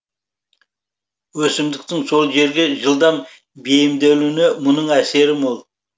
өсімдіктің сол жерге жылдам бейімделуіне мұның әсері мол